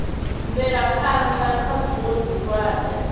bvela phana kha zwiwo zwihulwane